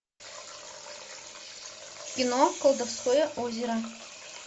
кино колдовское озеро